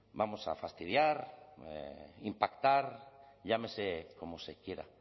vamos a fastidiar impactar llámese como se quiera